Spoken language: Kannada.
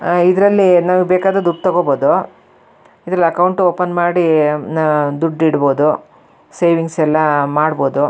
ಆಹ್ಹ್ ಇದರಲ್ಲಿ ನಮಗೆ ಬೇಕಾದ್ರೆ ದುಡ್ ತಗೋಬಹುದು ಇದರಲ್ಲಿ ಅಕೌಂಟ್ ಓಪನ್ ಮಾಡಿ ದುಡ್ಡ್ ಇಡ್ ಬೋದು ಸೇವಿಂಗ್ಸ್ ಎಲ್ಲ ಮಾಡ್ಬೋದು.